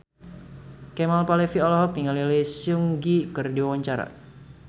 Kemal Palevi olohok ningali Lee Seung Gi keur diwawancara